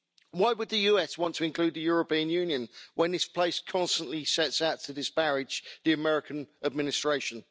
Why would the US want to include the European Union when this place constantly sets out to disparage the American administration?